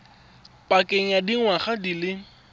pakeng ya dingwaga di le